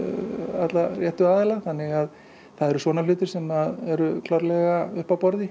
alla réttu aðilana þannig að það eru svona hlutir sem eru klárlega uppi á borði